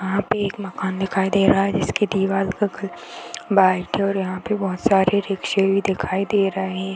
यहाँ पे एक मकान दिखाई दे रहा है जिसकी दिवार का कलर व्हाइट है और यहाँ पे बहुत सारी रिक्शे भी दिखाई दे रहें --